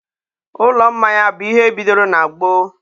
ụlọ mmanya bụ ihe bidoro na gboo.